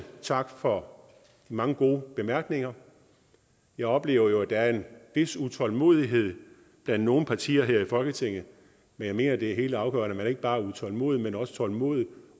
tak for de mange gode bemærkninger jeg oplever jo at der er en vis utålmodighed blandt nogle partier her i folketinget jeg mener det er helt afgørende at man ikke bare er utålmodig men også tålmodig